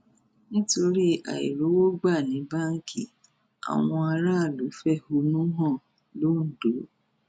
nítorí àìrówó gbà ní báǹkì àwọn aráàlú fẹhónú hàn londo